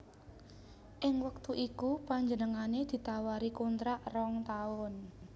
Ing wektu iku panjenengané ditawari kontrak rong taun